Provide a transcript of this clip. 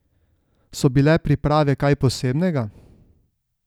So bile priprave kaj posebnega?